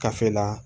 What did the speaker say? Kafe la